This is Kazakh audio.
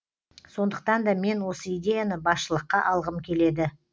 сондықтан да мен осы идеяны басшылыққа алғым келеді